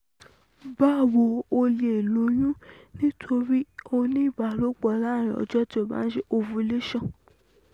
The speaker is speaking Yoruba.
Bawo, o lè lóyún nítorí o ní ìbálòpọ̀ láàárín ọjọ́ tí o bá ń ṣe ovulation